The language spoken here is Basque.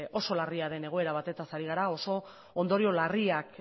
oso larria den egoera batetaz ari gara oso ondorio larriak